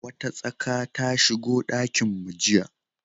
Wata tsaka ta shigo dakinmu jiya.